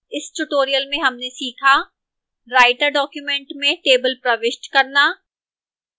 इस tutorial में हमने सीखा